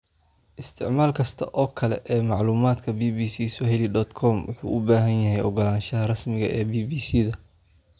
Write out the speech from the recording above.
Isticmaal kasta oo kale ee macluumaadka Bbcswahili.com wuxuu u baahan yahay ogolaanshaha rasmiga ah ee BBC-da.